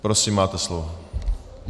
Prosím, máte slovo.